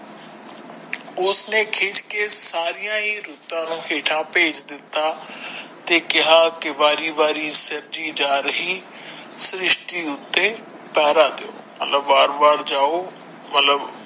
ਉਸਨੇ ਖਿੱਝ ਕੇ ਸਾਰੀਆਂ ਹੀ ਰੁੱਤਾਂ ਨੂੰ ਹੇਠਾਂ ਭੇਜ ਦਿੱਤਾ ਤੇ ਕਹਿਆ ਕੀ ਵਾਰੀ ਵਾਰੀ ਸੱਜਦੀ ਜਾ ਰਹੀ ਸ਼੍ਰਿਸਟੀ ਉੱਤੇ ਤਾਰਾ ਦੋ ਮਤਲਬ ਬਾਰ ਬਾਰ ਜਾਓ ਮਤਲਬ।